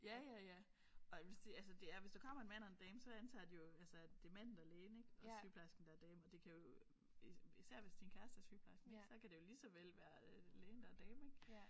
Ja ja ja. Og jeg vil sige altså det er hvis der kommer en mand og en dame så antager de jo altså at det er manden der er lægen ik og sygeplejersken der er damen og det kan jo især hvis din kæreste er sygeplejer så kan det jo lige så vel være lægen der er damen ik